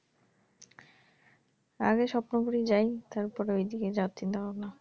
আগে স্বপ্নপুরি যাই তারপরে অইদিকে যাওয়ার চিন্তাভাবনা,